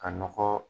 Ka nɔgɔ